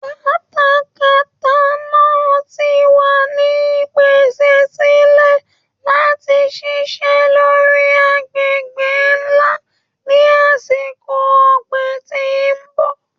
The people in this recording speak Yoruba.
Katakata náà ti wà ní ìpèsè sílẹ̀ láti ṣiṣẹ́ lórí agbègbè ńlá ní àsìkò ọ̀gbìn tí ń bọ̀.